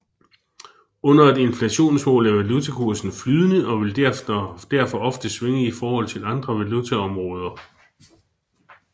Under et inflationsmål er valutakursen flydende og vil derfor ofte svinge i forhold til andre valutaområder